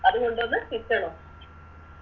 അത് കൊണ്ടോന്ന്